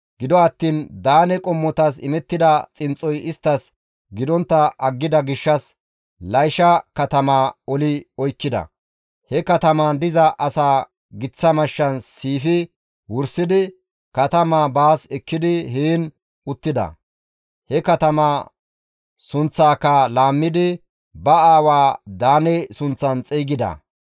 Gido attiin Daane qommotas imettida xinxxoy isttas gidontta aggida gishshas Laysha katamaa oli oykkida; he katamaan diza asaa giththa mashshan siifi wursidi katamaa baas ekkidi heen uttida. He katamaa sunththaaka laammidi ba aawaa Daane sunththan xeygida.